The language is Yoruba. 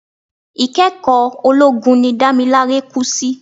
Ikẹ́kọ̀ọ́ ológun ni Damilare kú sí.